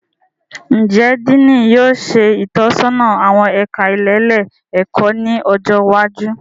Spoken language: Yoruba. Njẹ Diini yóò ṣe itọsọna awọn ẹka ilelé-ẹkọ ni ọjọ iwájú?